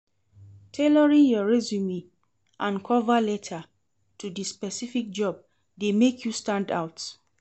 Tailoring your resume and cover letter to di specific job dey make you stand out.